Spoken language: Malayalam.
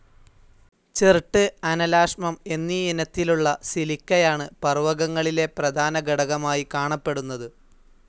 ചെർട്ട്, അനലാശ്മം എന്നീയിനത്തിലുള്ള സിലിക്കയാണ് പർവകങ്ങളിലെ പ്രധാനഘടകമായി കാണപ്പെടുന്നത്.